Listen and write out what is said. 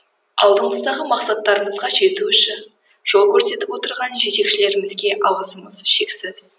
алдымыздағы мақсаттарымызға жету үшін жол көрсетіп отырған жетекшілерімізге алғысым шексіз